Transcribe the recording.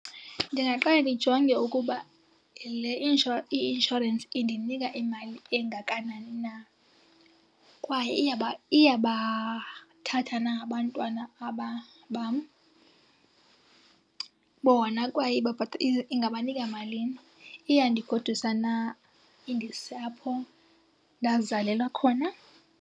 Ndingaqale ndijonge ukuba le , i-inshorensi indinika imali engakanani na. Kwaye iyabathatha na abantwana aba bam bona, kwaye ingabanika malini. Iyandigodusa na indise apho ndazalelwa khona?